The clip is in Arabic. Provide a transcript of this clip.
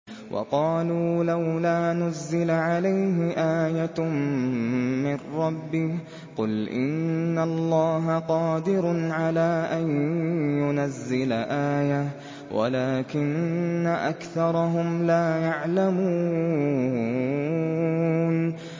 وَقَالُوا لَوْلَا نُزِّلَ عَلَيْهِ آيَةٌ مِّن رَّبِّهِ ۚ قُلْ إِنَّ اللَّهَ قَادِرٌ عَلَىٰ أَن يُنَزِّلَ آيَةً وَلَٰكِنَّ أَكْثَرَهُمْ لَا يَعْلَمُونَ